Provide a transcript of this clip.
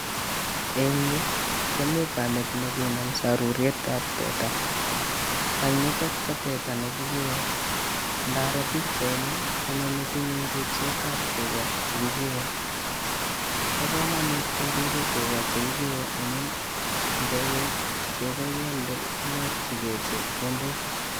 Eng yuu komii kamet nekanam sarurietab teta, tanyitok ko teta ne kikee, ndaroo pichaini konyo metinyun ribsetab tukaa chekikee, bo komonut keribe tukaa chekikee amun intekei chekoo ialde inyorchikee chepkondok.